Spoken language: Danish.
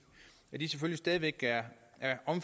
er